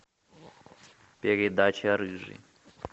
передача рыжий